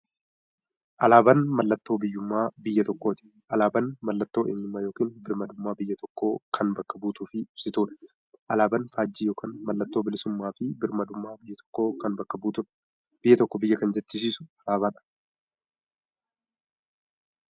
Alaaban mallattoo biyyuummaa biyya tokkooti. Alaabaan mallattoo eenyummaa yookiin birmaadummaa biyya tokkoo kan bakka buutuuf ibsituudha. Alaaban faajjii yookiin maallattoo bilisuummaafi birmaadummaa biyya tokkoo kan bakka buutuudha. Biyya tokko biyya kan jechisisuu alaabadha.